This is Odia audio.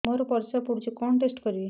ମୋର ପରିସ୍ରା ପୋଡୁଛି କଣ ଟେଷ୍ଟ କରିବି